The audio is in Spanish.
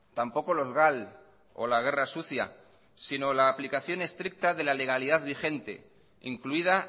tampoco los gal o la guerra sucia sino la aplicación estricta de la legalidad vigente incluida